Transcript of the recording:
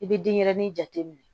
I bɛ denyɛrɛni jate minɛ